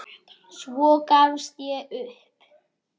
Svo gafst ég upp.